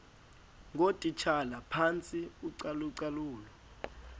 ngootitshala phantsi kocalucalulo